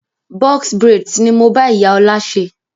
"Box braids" ni mo bá ìyá ọ̀la ṣe.